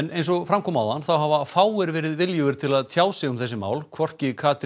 eins og fram kom áðan hafa fáir verið viljugir til að sjá sig um þessi mál hvorki Katrín